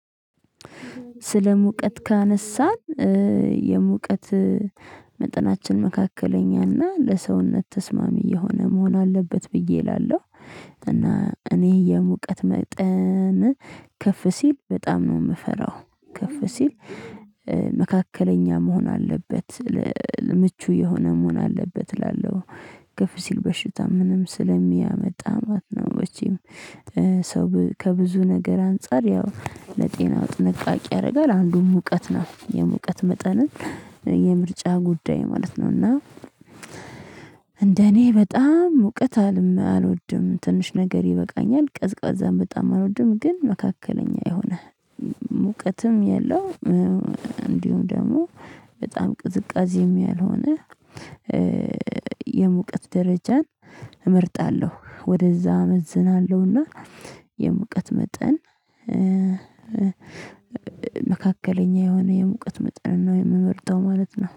ስለ ሙቀት ካነሳን የሙቀት መጠናችን መካከለኛና ለሰውነት ተስማሚ የሆነ መሆን አለበት ብዬ እላለሁ። እና እኔ የሙቀት መጠን ከፍ ሲል በጣም ነው የምፈራው ከፍ ሲል መካከለኛ መሆን አለበት ምቹ የሆነ መሆን አለበት እላለሁ። ክፍ ሲል በሽታ ምንም ስለሚያመጣ ማለት ነው። መቼም ሰው ከብዙ ነገር አንፃር ያው ለጤናው ጥንቃቄ ያደርጋል አንዱም ሙቀት ነው የሙቀት መጠንን የምርጫ ጉዳይ ማለት ነው እና። እንደኔ በጣም ሙቀት አልወድም ትንሽ ነገር ይበቃኛል ቀዝቃዛም በጣም አልወድም ግን መካከለኛ የሆነ ሙቀትም የለውም። እንዲሁም ደግሞ በጣም ቅዝቃዜም ያልሆነ የሙቀት ደረጃን እመርጣለሁ። ወደዛ አመዝናለሁና የሙቀት መጠን መካከለኛ የሆነ የሙቀት መጠን ነው የምመርጠው ማለት ነው